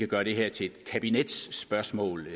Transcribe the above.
gøre det her til et kabinetsspørgsmål